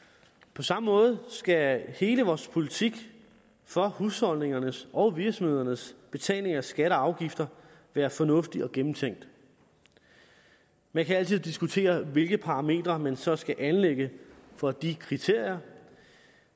på samme måde skal hele vores politik for husholdningernes og virksomhedernes betalinger af skatter og afgifter være fornuftig og gennemtænkt man kan altid diskutere hvilke parametre man så skal anlægge for de kriterier